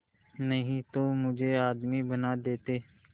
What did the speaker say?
नहीं तो मुझे आदमी बना देते